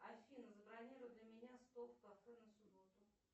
афина забронируй для меня стол в кафе на субботу